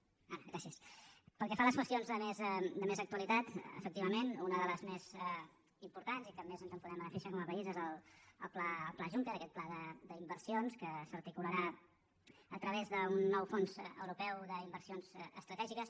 pel que fa a les qüestions de més actualitat efectivament una de les més importants i que més ens en podem beneficiar com a país és el pla juncker aquest pla d’inversions que s’articularà a través d’un nou fons europeu d’inversions estratègiques